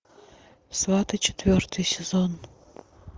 сваты четвертый сезон